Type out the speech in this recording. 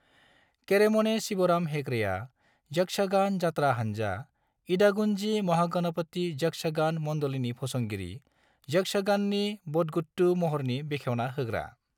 केरेमने शिवराम हेगड़ेआ, यक्षगान जात्रा हान्जा, इडागुंजी महागणपति यक्षगान मंडलीनि फसंगिरि, यक्षगाननि बदगुट्टू महरनि बेखेवना होग्रा।